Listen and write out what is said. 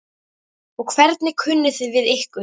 Og hvernig kunni þið við ykkur?